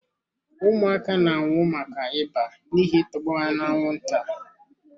Ụmụaka na-anwụ maka ịba n'ihi I tọgbọ ha na-anwụnta.